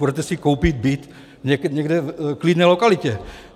Půjdete si koupit byt někde v klidné lokalitě.